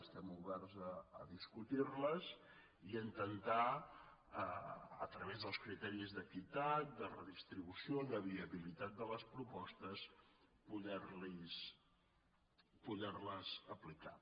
estem oberts a discutir les i a intentar a través dels criteris d’equitat de redistribució de viabilitat de les propostes poder les aplicar